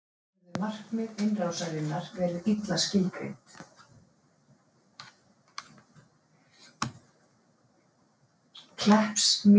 Myndband af marki Heiðars